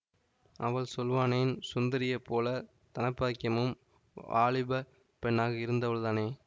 அவள் சொல்வானேன் சுந்தரியைப் போல தனபாக்கியமும் வாலிபப் பெண்ணாக இருந்தவள்தானே